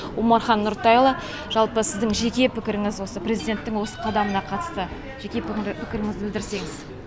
омархан нұртайұлы жалпы сіздің жеке пікіріңіз осы президенттің осы қадамына қатысты жеке пікіріңізді білдірсеңіз